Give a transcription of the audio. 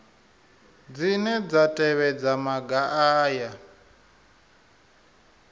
dzine dza tevhedza maga aya